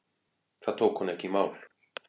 Það tók hún ekki í mál.